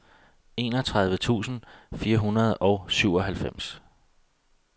enogtredive tusind fire hundrede og syvoghalvfems